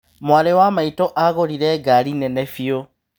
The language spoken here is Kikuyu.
Mwarĩ wa maĩtũ agũrire ngari nene bĩu.